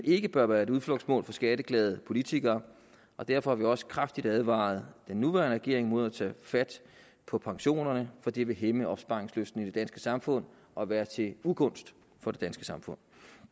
ikke bør være et udflugtsmål for skatteglade politikere og derfor har vi også kraftigt advaret den nuværende regering mod at tage fat på pensionerne for det vil hæmme opsparingslysten i det danske samfund og være til ugunst for det danske samfund